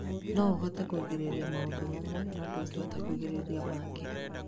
No ũhote kũgirĩrĩria maũndũ mamwe no ndũhote kũgirĩrĩria mangĩ.